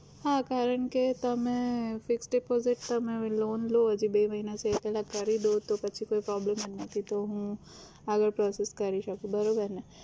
હા કારણ કે તમે fix deposit તમે એવી loan લો જે બે મહિના સુધી એ પેલા ભરી દો તો પછી કોઈ problem જ નથી તો હું આગળ process કરી શકું, બરોબર ને?